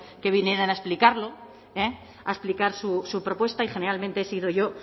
que vinieran a explicarlo a explicar su propuesta y generalmente he sido yo